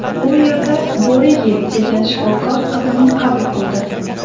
U yerda Bo‘riyev degan shifokor qizimni qabul qildi.